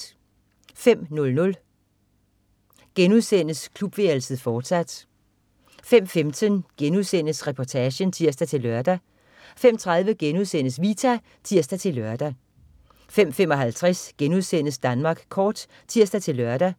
05.00 Klubværelset, fortsat* 05.15 Reportagen* (tirs-lør) 05.30 Vita* (tirs-lør) 05.55 Danmark Kort* (tirs-lør)